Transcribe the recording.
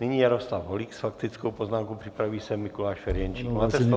Nyní Jaroslav Holík s faktickou poznámkou, připraví se Mikuláš Ferjenčík.